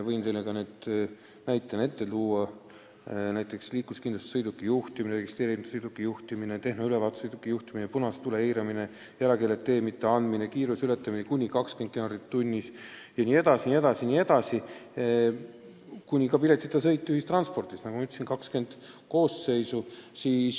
Võin teile ka näiteid tuua: liikluskindlustuseta sõiduki juhtimine, registreerimata sõiduki juhtimine, tehnoülevaatuseta sõiduki juhtimine, punase tule eiramine, jalakäijale tee mitteandmine, kiiruse ületamine kuni 20 kilomeetrit tunnis, ka piletita sõit ühissõidukis – nagu ma ütlesin, 20 koosseisu.